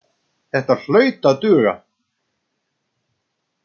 Þetta hlaut að duga.